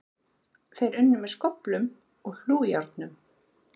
Þeir unnu með skóflum og hlújárnum.